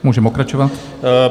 Můžeme pokračovat.